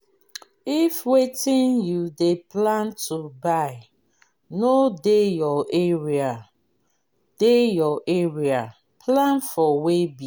if wetin you dey plan to buy no dey your area dey your area plan for weighbill